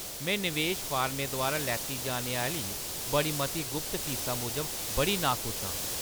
में नवेश फर्में द्वारा लैती जाने आह्‌ली बड़ी मती गुप्त फीसा मूजब बड़ी नाखुश आं।